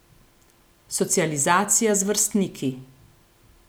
Socializacija z vrstniki.